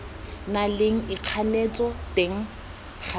na leng ikganetso teng gareng